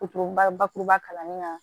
bakuruba kalanni na